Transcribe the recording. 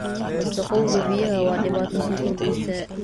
Wasakhowga biyaha waa dhibaato sii kordheysa.